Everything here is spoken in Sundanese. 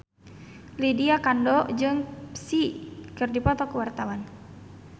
Lydia Kandou jeung Psy keur dipoto ku wartawan